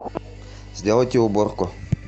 сделайте уборку